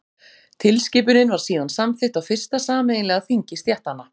Tilskipunin var síðan samþykkt á fyrsta sameiginlega þingi stéttanna.